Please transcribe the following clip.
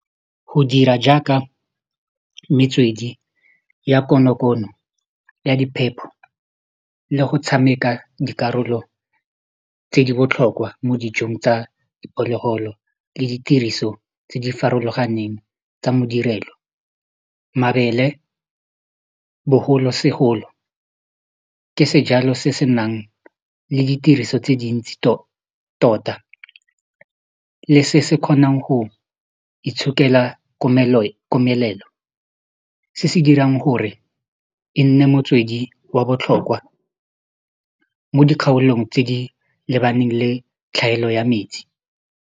Go dira jaaka metswedi ya konokono ya diphepho le go tshameka dikarolo tse di botlhokwa mo dijong tsa diphologolo le ditiriso tse di farologaneng tsa modirelo, mabele bogolosegolo ke sejalo se se nang le ditiriso tse dintsi tota le se se kgonang go itshokela komelelo se se dirang gore e nne motswedi wa botlhokwa mo dikgaolong tse di lebaneng le tlhaelo ya metsi.